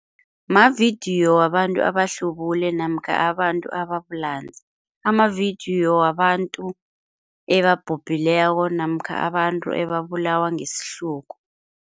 Mavidiyo wabantu abahlubule namkha abantu ababulanzi, amavidiyo wabantu ebabhubhileko namkha abantu ebabulawa ngesihlungu.